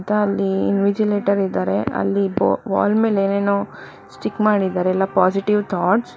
ಮತ್ತ ಅಲ್ಲಿ ಇನ್ವಿಜಿಲೇಟರ್ ಇದ್ದಾರೆ ಅಲ್ಲಿ ಬೊ- ವಾಲ್ ಮೇಲ್ ಏನೇನೋ ಸ್ಟಿಕ್ ಮಾಡಿದ್ದಾರೆ ಎಲ್ಲ ಪಾಸಿಟಿವ್ ಥಾಟ್ಸ್ .